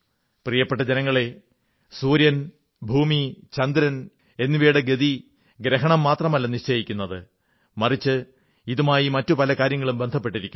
പ്രിയപ്പെട്ട ജനങ്ങളേ സൂര്യൻ ഭൂമി ചന്ദ്രൻ എന്നിവയുടെ ഗതി ഗ്രഹണം മാത്രമല്ല നിശ്ചയിക്കുന്നത് മറിച്ച് ഇതുമായി മറ്റു പല കാര്യങ്ങളും ബന്ധപ്പെട്ടിരിക്കുന്നു